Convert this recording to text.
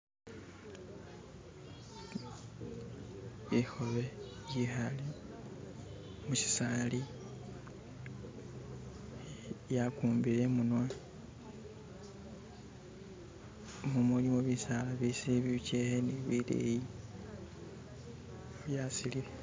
Likhobe likale mushisaali lyagumbile imunwa. Mu mulimo bisaala ibishili bijeke ni bileyi byasili....